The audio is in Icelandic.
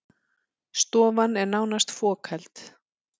Stofan er nánast fokheld